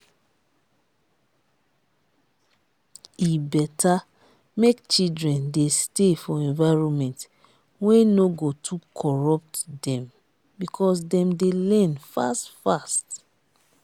e better make children dey stay for environment wey no go too corrput dem because dem dey learn fast fast